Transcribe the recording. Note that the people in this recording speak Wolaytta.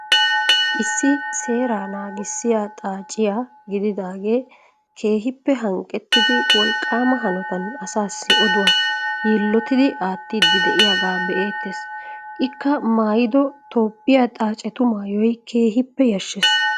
Issi seeraa nanggisiyaa xaaciyaa gididaagee keehippe hanqqettidi wolqqaama hanootan asaasi oduwaa yiillottidi aattiidi de'iyaagaa be'eettees. Ikka maayido toophphiyaa xaacattu maayoy keehippe yaashshees.